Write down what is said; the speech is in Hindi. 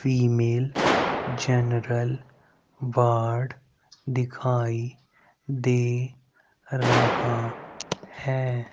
फीमेल जनरल वार्ड दिखाई दे रहा हैं।